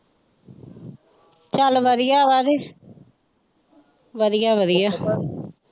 ਚੱਲ ਵਧੀਆ ਵਧੀਆ ਵਧੀਆ।